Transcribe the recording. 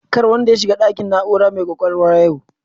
Kar wanda ya shiga ɗakin na'urar mai kwakwalwa yau